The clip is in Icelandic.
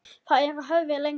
Þér eruð höfðinu lengri.